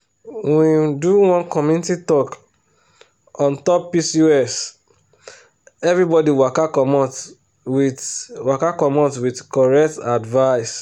we um do one community talk on top pcoseverybody waka commot with waka commot with correct advice.